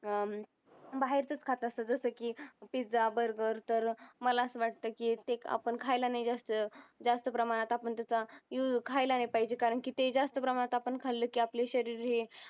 अं बाहेरचच खात असतात जस कि pizza burger तर मला असा वाटतं की ते आपण खायला नाय जास्त जास्त प्रमाणात आपण त्याचा खायला नाय पाहिजे कारण की ते जास्त प्रमाणात आपण खाल्लं की आपले शरीर हे